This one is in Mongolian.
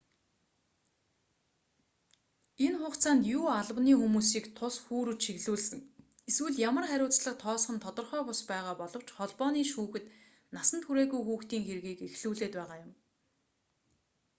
энэ хугацаанд юу албаны хүмүүсийг тус хүү рүү чиглүүлсэн эсвэл ямар хариуцлага тооцох нь тодорхой бус байгаа боловч холбооны шүүхэд насанд хүрээгүй хүүхдийн хэргийг эхлүүлээд байгаа юм